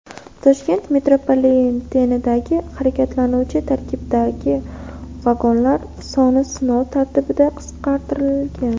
Toshkent metropolitenidagi harakatlanuvchi tarkiblardagi vagonlar soni sinov tartibida qisqartirilgan.